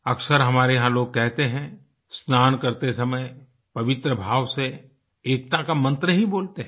अक्सर हमारे यहाँ लोग कहते हैं स्नान करते समय पवित्र भाव से एकता का मंत्र ही बोलते हैं